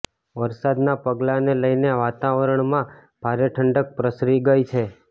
વરસાદનાં પગલાને લઇને વાતાવરણમાં ભારે ઠંડક પ્રસરી ગઇ છે